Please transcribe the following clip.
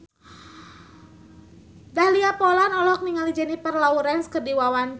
Dahlia Poland olohok ningali Jennifer Lawrence keur diwawancara